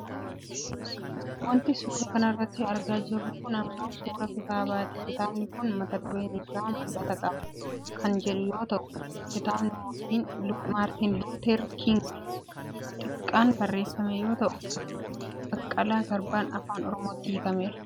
Wanti suuraa kanarratti argaa jirru kun ammoo suuraa kitaabaati. Kitaabni kun mata dureen isaa " mul'atan qaba" kan jedhu yoo ta'u, kitaaba Maartiin Luuter Kingii Xiqqaan barreefame yoo ta'u Baqqalaa Garbaan Afaan Oromootti hiikkame.